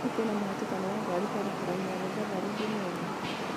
hihi kwĩna mũhatikano wa ngari barabara-inĩ ya mombatha road ũmũthĩ